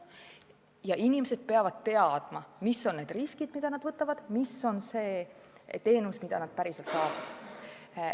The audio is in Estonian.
Ja inimesed peavad teadma, mis on riskid, mida nad võtavad, mis on see teenus, mida nad päriselt saavad.